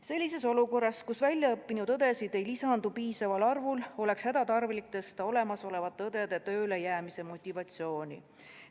Sellises olukorras, kus väljaõppinud õdesid ei lisandu piisaval arvul, oleks hädatarvilik tõsta olemasolevate õdede tööle jäämise motivatsiooni.